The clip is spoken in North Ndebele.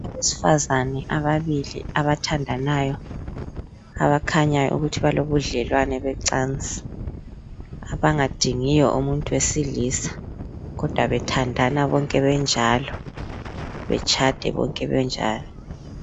Abesifazane ababili abathandanayo abakhanyayo ukuthi balobudlelwano becansi, abangadingiyo umuntu wesilisa kodwa bethandana bonke benjalo, betshade bonke benjalo.